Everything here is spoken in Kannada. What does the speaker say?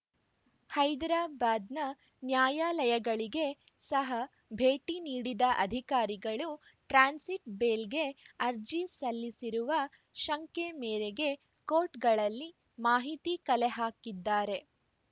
ಹೈದರಾಬಾದ್‌ನ ನ್ಯಾಯಾಲಯಗಳಿಗೆ ಸಹ ಭೇಟಿ ನೀಡಿದ ಅಧಿಕಾರಿಗಳು ಟ್ರಾನ್ಸಿಟ್‌ ಬೇಲ್‌ಗೆ ಅರ್ಜಿ ಸಲ್ಲಿಸಿರುವ ಶಂಕೆ ಮೇರೆಗೆ ಕೋರ್ಟ್‌ಗಳಲ್ಲಿ ಮಾಹಿತಿ ಕಲೆ ಹಾಕಿದ್ದಾರೆ